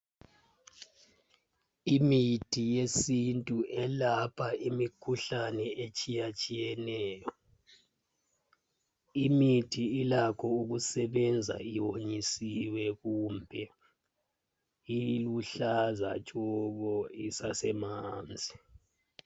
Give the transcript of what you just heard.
Imithi yesintu yelapha imikhuhlane etshiyatshiyeneyo. Imithi ilakho ukusetshenziswa iwonyisiwe kumbe iluhlaza tshoko isesemanzi.